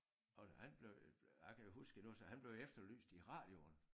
Og han blev jo jeg kan huske endnu så han blev efterlyst i radioen